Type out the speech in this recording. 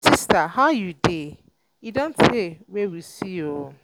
um my sister how you um dey? e don tey wey we see oo um